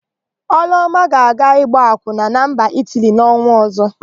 Ọlụọma ga-aga ịgba akwụna na mba Itili n'ọnwa ọ̀zọ́.